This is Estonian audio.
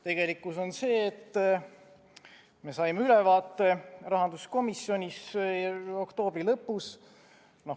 Tegelikkus on see, millest me saime ülevaate rahanduskomisjonis oktoobri lõpus.